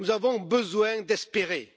Nous avons besoin d'espérer.